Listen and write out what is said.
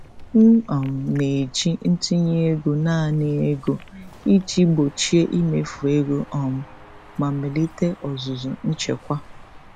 M um na-eji ntinye ego naanị ego iji gbochie imefu ego um ma melite ọzụzụ nchekwa.